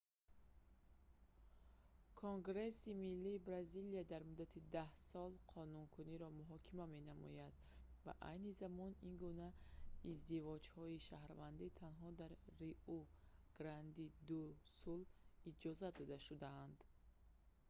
конгресси миллии бразилия дар муддати 10 сол қонуникуниро муҳокима менамояд ва айни замон ин гуна издивоҷҳои шаҳрвандӣ танҳо дар риу-гранди-ду-сул иҷозат дода шудаанд